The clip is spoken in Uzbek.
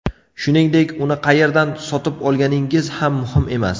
Shuningdek, uni qayerdan sotib olganingiz ham muhim emas.